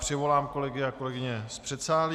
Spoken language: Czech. Přivolám kolegy a kolegyně z předsálí.